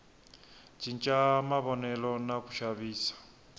cinca mavonelo na ku xavisa